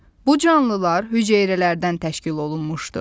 Bu canlılar hüceyrələrdən təşkil olunmuşdur.